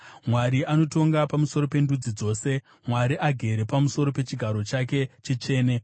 Mwari anotonga pamusoro pendudzi dzose; Mwari agere pamusoro pechigaro chake chitsvene.